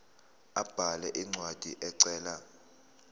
abhale incwadi ecela